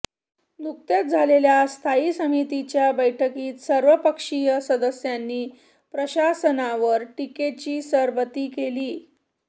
नुकत्याच झालेल्या स्थायी समितीच्या बैठकीत सर्वपक्षीय सदस्यांनी प्रशासनावर टीकेची सरबत्ती केली